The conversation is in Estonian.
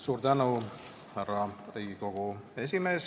Suur tänu, härra Riigikogu esimees!